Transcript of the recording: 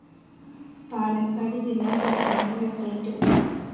I Palakkad ജില്ലാ പ്രസിഡന്റിന് വെട്ടേറ്റു